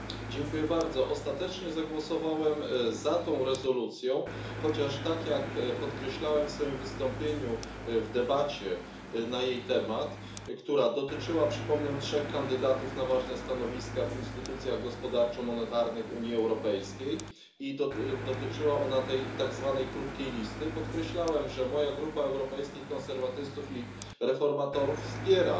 Panie Przewodniczący! Ostatecznie zagłosowałem za tą rezolucją, chociaż, tak jak podkreślałem w swoim wystąpieniu w debacie na jej temat, która dotyczyła, przypomnę, trzech kandydatów na ważne stanowiska w instytucjach gospodarczo monetarnych Unii Europejskiej i tej tak zwanej krótkiej listy, podkreślałem, że moja Grupa Europejskich Konserwatystów i Reformatorów wspiera